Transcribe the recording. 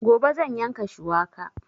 Gobe zan yanka shuwaka